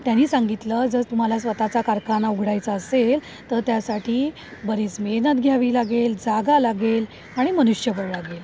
त्यांनी सांगितलं, जर तुम्हाला स्वतः चा कारखाना उघडायचा असेल तर त्यासाठी बरीच मेहनत घ्यावी लागेल जागा लागेल आणि मनुष्यबळ लागेल.